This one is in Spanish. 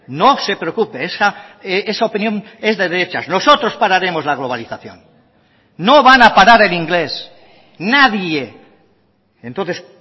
no se preocupe esa opinión es de derechas nosotros pararemos la globalización no van a parar el inglés nadie entonces